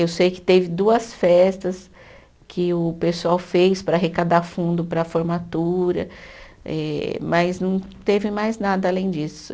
Eu sei que teve duas festas que o pessoal fez para arrecadar fundo para a formatura, eh mas não teve mais nada além disso.